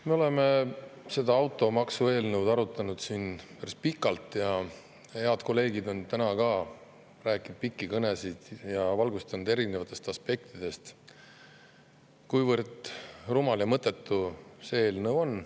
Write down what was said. Me oleme seda automaksu eelnõu arutanud siin päris pikalt ja head kolleegid on täna rääkinud pikki kõnesid ja valgustanud erinevatest aspektidest, kuivõrd rumal ja mõttetu see eelnõu on.